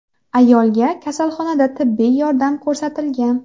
Ayolga kasalxonada tibbiy yordam ko‘rsatilgan.